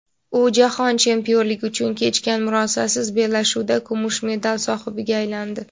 U jahon chempionligi uchun kechgan murosasiz bellashuvda kumush medal sohibiga aylandi.